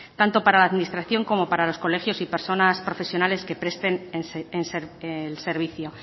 tanto para la administración como para los colegios y personas profesionales que presten el servicio